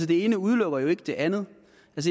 det ene udelukker jo ikke det andet